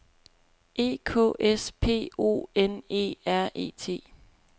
E K S P O N E R E T